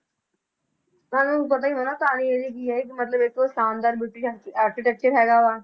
ਤੁਹਾਨੂੰ ਪਤਾ ਹੀ ਹੋਣਾ ਕਹਾਣੀ ਇਹਦੀ ਕੀ ਹੈ ਕਿ ਮਤਲਬ ਇੱਕ ਸ਼ਾਨਦਾਰ architecture ਹੈਗਾ ਵਾ।